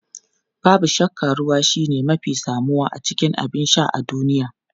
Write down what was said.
Babu shakka ruwa shine mafi samuwa cikin abin sha a duniya.